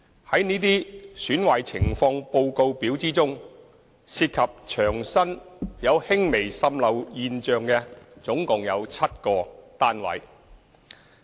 在這些"損壞情況報告表"之中，涉及牆身有輕微滲漏現象的共有7個單位。